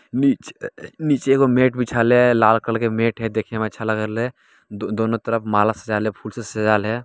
Mitch नीचे एगो mat बिछाले लाल कलर की मेट है देखने मै अच्छा लाग रहल है दोनों तरफ माला से सजले फुल से सजाल हाय।